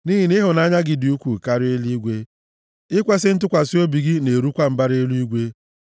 Nʼihi na ịhụnanya gị dị ukwuu karịa eluigwe; ikwesi ntụkwasị obi gị na-erukwa mbara eluigwe.